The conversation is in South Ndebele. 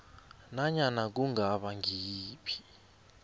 nanyana kungaba ngiyiphi